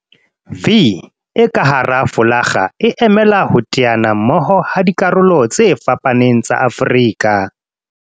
'V' e ka hara folakga e emela ho teana mmoho ha dikarolo tse fapaneng tsa Afrika